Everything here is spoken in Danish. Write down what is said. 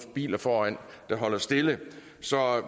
biler foran der holder stille så